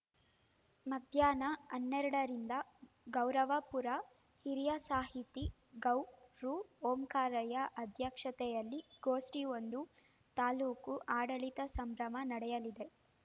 ಮಧಾಹ್ನ ಹನ್ನೆರಡರಿಂದ ಗೌರವಾಪುರ ಹಿರಿಯ ಸಾಹಿತಿ ಗೌರು ಓಂಕಾರಯ್ಯ ಅಧ್ಯಕ್ಷತೆಯಲ್ಲಿ ಗೋಷ್ಠಿ ಒಂದು ತಾಲೂಕು ಆಡಳಿತ ಸಂಭ್ರಮ ನಡೆಯಲಿದೆ